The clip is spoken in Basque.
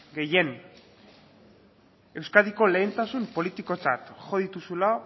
gehien euskadiko lehentasun politikotzat jo dituzula